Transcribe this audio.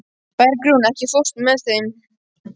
Bergrún, ekki fórstu með þeim?